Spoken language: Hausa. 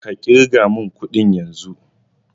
Ka ƙirga mun ƙudin yanzun!